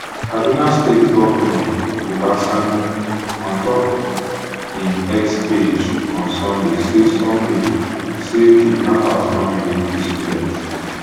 kaduna state govnor uba sanni ontop im x page on sunday say sunday say kidnappers don release di students